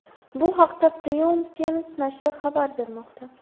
Bu haqda Premium Times nashri xabar bermoqda .